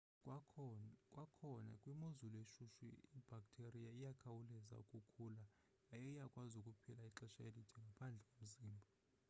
kwakhona kwimozulu eshushu ibhaktheriya iyakhawuleza ukukhula yaye iyakwazi ukuphila ixesha elide ngaphandle komzimba